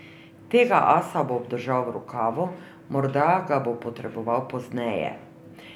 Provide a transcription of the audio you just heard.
Tega asa bo obdržal v rokavu, morda ga bo potreboval pozneje.